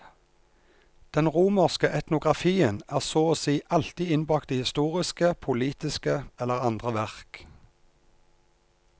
Den romerske etnografien er så å si alltid innbakt i historiske, politiske eller andre verk.